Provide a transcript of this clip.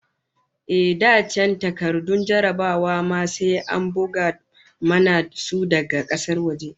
Ehh, da can takardun jarrabawa ma sai an bugo mana su daga kasar waje